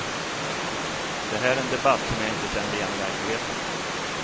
Det här är en debatt som jag inte känner igen i verkligheten.